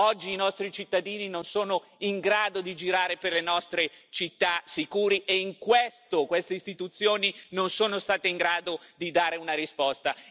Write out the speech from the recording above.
Oggi i nostri cittadini non sono in grado di girare per le nostre città sicuri e, in questo, queste istituzioni non sono state in grado di dare una risposta.